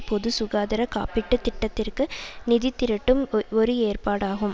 பொதுசுகாதார காப்பீடு திட்டத்திற்கு நிதிதிரட்டும் ஒ ஒரு ஏற்பாடாகும்